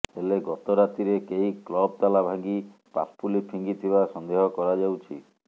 ହେଲେ ଗତ ରାତିରେ କେହି କ୍ଲବ୍ ତାଲା ଭାଙ୍ଗି ପାପୁଲି ଫିଙ୍ଗିଥିବା ସନ୍ଦେହ କରାଯାଉଛି